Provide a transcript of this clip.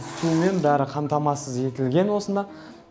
сумен бәрі қамтамасыз етілген осында